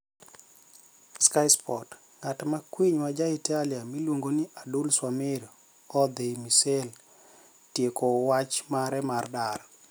(Sky Sports)nigat ma kwiniy ma ja italia miluonigo nii Adul swamir odhi Marseille tieko wach mare mar dar.